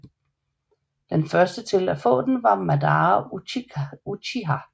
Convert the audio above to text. Den første til at få den var Madara Uchiha